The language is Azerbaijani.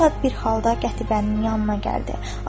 O şad bir halda Qətibənin yanına gəldi.